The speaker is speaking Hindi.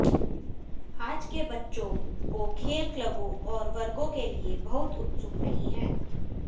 आज के बच्चों को खेल क्लबों और वर्गों के लिए बहुत उत्सुक नहीं हैं